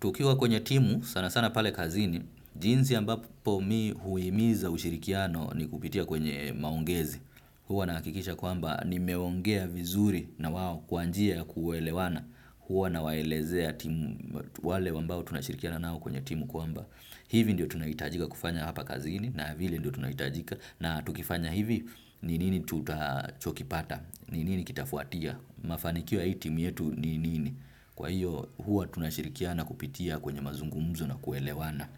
Tukiwa kwenye timu sana sana pale kazini jinsi ambapo mimi huimiza ushirikiano ni kupitia kwenye maongezi. Huwa nahakikisha kwamba nimeongea vizuri na wao kwa njia ya kuelewana. Huwa na waelezea timu wale ambao tunashirikiana nao kwenye timu kwamba. Hivi ndio tunahitajika kufanya hapa kazini na vile ndio tunahitajika. Na tukifanya hivi ni nini tutachokipata ni nini kitafuatia. Mafanikia ya hii timu yetu ni nini. Kwa hiyo huwa tunashirikiana kupitia kwenye mazungumzo na kuelewana.